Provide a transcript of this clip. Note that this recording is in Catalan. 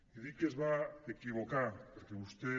i dic que es va equivocar perquè vostè